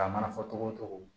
A mana fɔ togo o togo